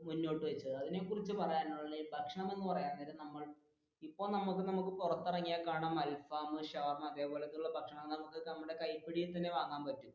മുന്നോട്ട് വെച്ചത് അതിനെക്കുറിച്ച് പറയാനുളളത് ഈ ഭക്ഷണം എന്ന് പറയാൻ നേരം ഇപ്പൊ നമുക്ക് നമുക്ക് പുറത്തു ഇറങ്ങിയാൽ കാണാം അൽഫഹം, ഷവർമ അതെ പോലത്തെയുള്ള ഭക്ഷണങ്ങൾ നമുക്ക് നമ്മുടെ കൈപ്പിടിയിൽ തന്നെ വാങ്ങാൻ പറ്റും.